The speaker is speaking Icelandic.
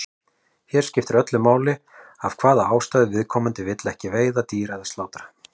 Hér skiptir öllu máli af hvaða ástæðu viðkomandi vill ekki veiða dýr eða slátra.